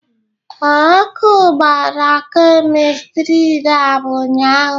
Ee, ọkụ gbara Kemistri laabụ ụnyaahụ.